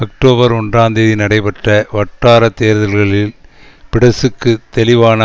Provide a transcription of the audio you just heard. October ஒன்றாம் தேதி நடைபெற்ற வட்டார தேர்தல்களில் பிடெசுக்கு தெளிவான